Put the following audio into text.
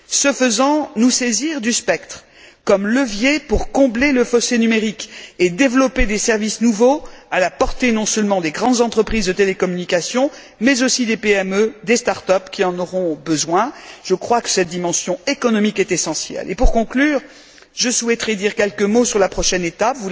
Ce faisant, nous saisir par ailleurs du spectre comme levier pour combler le fossé numérique et développer des services nouveaux, à la portée non seulement des grandes entreprises de télécommunications mais aussi des PME, des start up, qui en auront besoin. Je crois que cette dimension économique est essentielle. Et pour conclure, je souhaiterais dire quelques mots sur la prochaine étape.